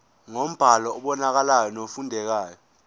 ngombhalo obonakalayo nofundekayo